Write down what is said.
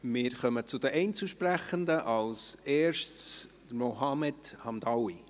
Wir kommen zu den Einzelsprechenden, zuerst zu Mohamed Hamdaoui.